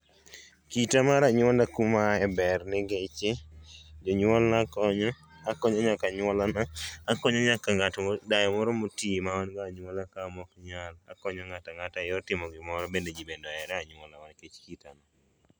Kita mar anyola kuma aaye ber ningechi jonyuolna konya, akonyo nyaka anyuola na, akonyo nyaka dayo moro motii ma an go e anyuola na maok nyal. Akonyo ng'ata ang'ata eyor timo gimoro ,bende jii bende ohera e anyuola nikech kita no